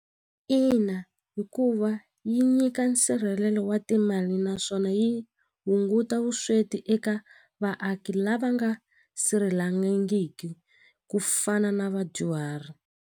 Ina hikuva yi nyika nsirhelelo wa timali naswona yi hunguta vusweti eka vaaki lava nga sirhelelangiki ku fana na vadyuhari.